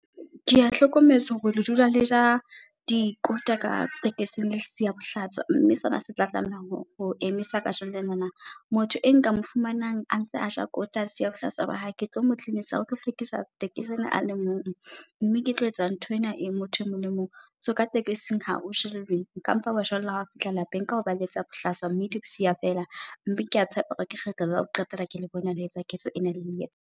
Ke a hlokometse hore re dula leja di kota ka tekesing le sia bohlaswa mme sena setla tlameha ho emisa kajeno lenana. Motho e nka moo fumanang a ntse aja kota antsa siya bohlaswa ba hae ke tlo mo tlisa o tlo hlwekisa tekesi ena a le mong, mme ke tlo etsa ntho ena motho e mong le mong. So ka tekesing ha o jellwe nkampa hwa jellwa hao fihla lapeng. Ka hoba le etsa bohlaswa, mme le bo siya fela. Mme kea tshepa hore ke ketlo la ho qetela ke le bona le etsa ketso ena ele etsang.